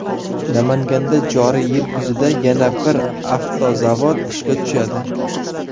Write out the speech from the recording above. Namanganda joriy yil kuzida yana bir avtozavod ishga tushadi.